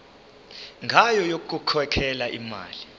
ngayo yokukhokhela imali